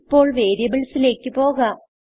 ഇപ്പോൾ വേരിയബിൾസിലേക്ക് പോകാം